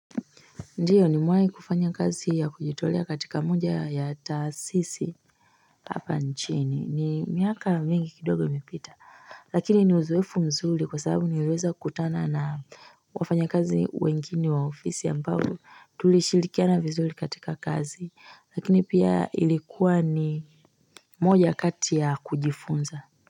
Ndiyo nimewahi kufanya kazi ya kujitolea katika moja ya taasisi hapa nchini. Ni miaka mingi kidogo ilipita. Lakini ni uzoefu mzuri kwa sababu niliweza kutana na wafanyakazi wengini wa ofisi ambao tulishirikiana vizuri katika kazi. Lakini pia ilikuwa ni moja kati ya kujifunza.